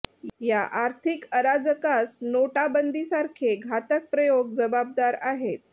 या आर्थिक अराजकास नोटाबंदीसारखे घातक प्रयोग जबाबदार आहेत